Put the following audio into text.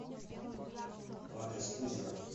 адрес кузина